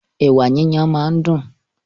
Ẹ̀wà yíyan máa ń dún.